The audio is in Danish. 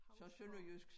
Hausgaard